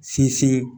Sinsin